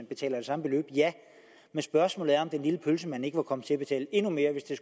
betale det samme beløb men spørgsmålet er om den lille pølsemand ikke var kommet til at betale endnu mere hvis det